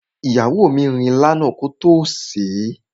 Ìyàwó mi rin ilá náà kótó sèé.